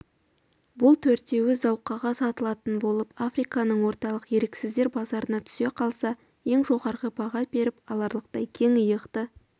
бұл төртеуі зауқаға сатылатын болып африканың орталық еріксіздер базарына түсе қалса ең жоғары баға беріп аларлықтай кең иықты